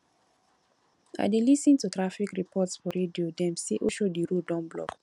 i dey lis ten to traffic report for radio dem say oshodi road don block